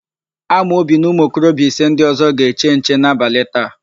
Amobi na ụmụokorobịa ise ndị ọ̀zọ́ ga-eche nche n'abalị taa.